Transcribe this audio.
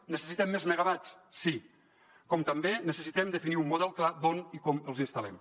necessitem més megawatts sí com també necessitem definir un model clar d’on i com els instal·lem